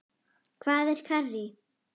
Hvað er karrí?